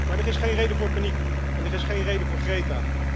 Maar er is geen reden voor paniek en er is geen reden voor Greta.